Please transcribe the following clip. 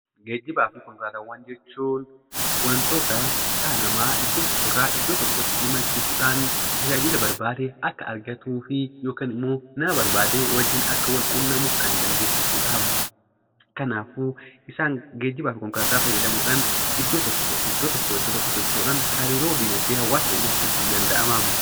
Geejjiba fi konkolaataawwan jechuun wantoota dhala namaa iddoo tokkorraa gara iddoo tokkootti imalchiisuudhan tajaajila barbaade akka argatuu fi yookiin immoo nama barbaade waliin akka wal quunnamu kan dandeessisudha. Kanaafuu geejjiba fi konkolaataawwan fayyadamuudha diinagdee biyya keenyaa fooyyessuun ni danda'ama.